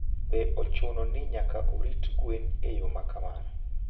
Be ochuno ni nyaka orit gwen e yo ma kamano?